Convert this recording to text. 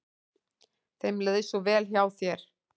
Þeim leið svo vel hjá þér.